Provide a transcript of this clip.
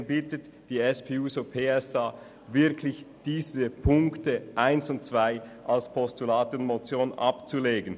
Deswegen bittet Sie die SP-JUSO-PSA-Fraktion ausdrücklich, die Punkte 1 und 2 als Postulat und Motion abzulehnen.